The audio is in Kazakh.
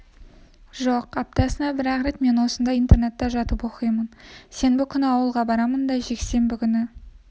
жоқ аптасына бір-ақ рет мен осында интернатта жатып оқимын сенбі күні ауылға барамын да жексенбі күні